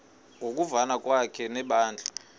ngokuvana kwakhe nebandla